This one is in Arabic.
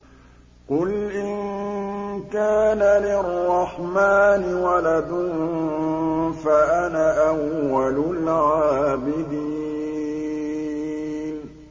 قُلْ إِن كَانَ لِلرَّحْمَٰنِ وَلَدٌ فَأَنَا أَوَّلُ الْعَابِدِينَ